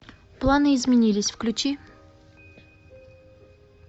планы изменились включи